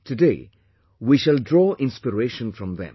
Today, we shall draw inspiration from them